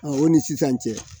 o ni sisan cɛ